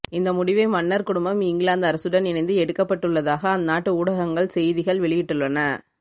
இந்த முடிவை மன்னர் குடும்பம் இங்கிலாந்து அரசுடன் இணைந்து எடுக்கப்பட்டுள்ளதாக அந்நாட்டு ஊடகங்கள் செய்திகள் வெளியிட்டுள்ளன